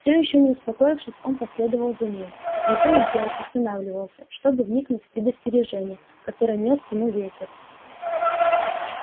все ещё не успокоившись он последовал за ней но то и дело останавливался чтобы вникнуть в предостережение которое нёс ему ветер